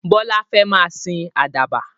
Bọlá fẹ́ máa sìn àdàbà.